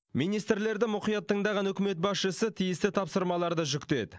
министрлерді мұқият тыңдаған үкімет басшысы тиісті тапсырмаларды жүктеді